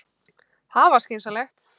Það var skynsamlegast.